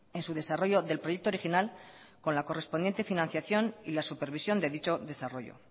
en su desarrollo del proyecto original con la correspondiente financiación y la supervisión de dicho desarrollo